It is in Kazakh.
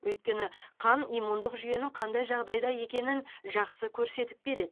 өйткені қан иммундық жүйенің қандай жағдайда екенін жақсы көрсетіп береді